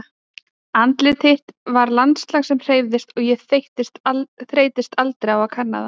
Andlitið þitt var landslag sem hreyfðist og ég þreyttist aldrei á að kanna það.